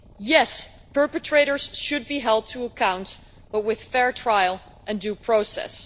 Yes, perpetrators should be held to account, but with fair trial and due process.